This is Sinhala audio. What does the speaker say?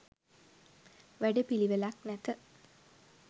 වැඩ පිළිවෙලක් නැත